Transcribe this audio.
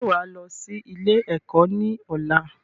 Ṣé wá lọ sí ilé ẹ̀kọ́ ni ọ̀la?